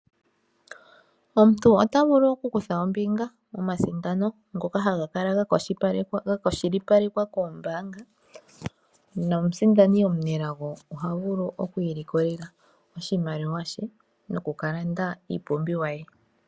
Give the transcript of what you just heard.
Omuntu oto vulu oku kutha ombinga momathigathano ngoka haga kala ga kwashilipalekwa kombaanga nomusimdani omunelago oha vulu okwilikolela oshimaliwa she noku kalanda iipumbiwa ye.